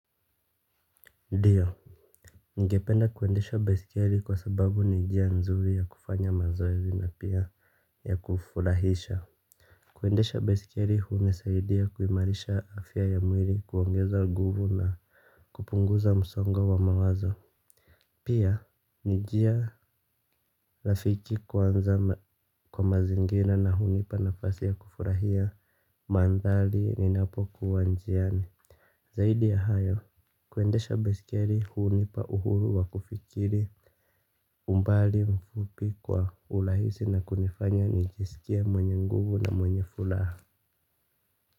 Ndiyo ningependa kuendesha baiskeli kwa sababu ni njia nzuri ya kufanya mazoezi na pia ya kufurahisha. Kuendesha baiskeli hunisaidia kuimarisha afya ya mwili kuongeza nguvu na kupunguza msongo wa mawazo. Pia ni njia rafiki kwanza kwa mazingira na hunipa nafasi ya kufurahia mandhari ninapokuwa njiani. Zaidi ya hayo kuendesha baiskeli hunipa uhuru wa kufikiri. Umbali mfupi kwa urahisi na kunifanya nijisikie mwenye nguvu na mwenye furaha.